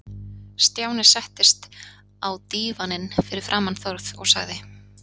Stjáni settist á dívaninn fyrir framan Þórð og sagði